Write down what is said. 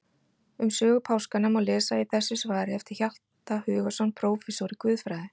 Um sögu páskanna má lesa í þessu svari eftir Hjalta Hugason prófessor í guðfræði.